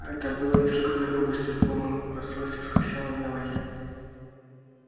это было неслыханной грубостью в полном расстройстве вскричала мелани